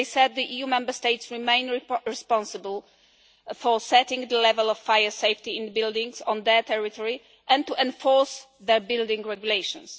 As I said, the EU Member States remain responsible for setting the level of fire safety in buildings on their territory, and to enforce their building regulations.